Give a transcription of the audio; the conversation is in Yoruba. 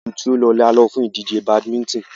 Oṣù tí o lọ ni a lọ fún ìdíje badminton.